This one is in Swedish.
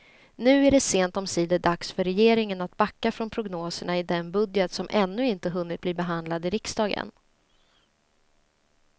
Nu är det sent omsider dags för regeringen att backa från prognoserna i den budget som ännu inte hunnit bli behandlad i riksdagen.